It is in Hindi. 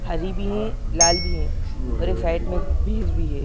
हरी भी हैं लाल भी हैं और एक साइड में भैंस भी हैं।